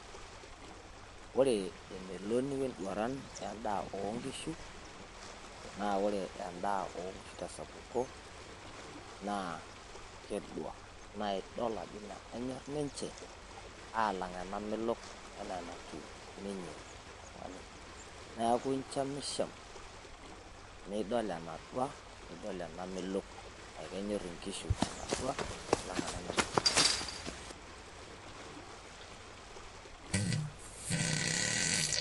Ore emeloni wenduaran wendaa oonkishu naa ore endaa oonkishu tesapuko naa kedua naa idol ajo ino enyor ninche aalang enamelok enaa enatiu oltung'ani neeku inchamisham nidol enadua nidol enamelok amu kenyor inkishu enadua alalng enamelok